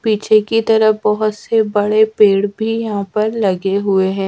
पीछे की तरफ बहोत से बड़े पेड़ भी यहां पर लगे हुए हैं।